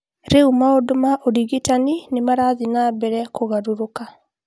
Rĩu maũndũ ma ũrigitani nĩ marathiĩ na mbere kũgarũrũka